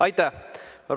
Aitäh!